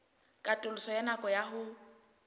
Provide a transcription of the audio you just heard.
katoloso ya nako ya ho